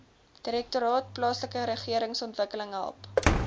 direktoraat plaaslikeregeringsontwikkeling help